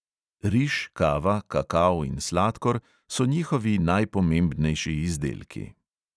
Riž, kava, kakao in sladkor so njihovi najpomembnejši izdelki.